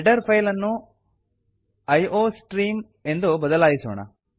header file ಅನ್ನು iostream ಎಂದು ಬದಲಾಯಿಸೋಣ